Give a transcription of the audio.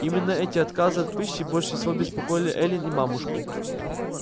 именно эти отказы от пищи больше всего беспокоили эллин и мамушку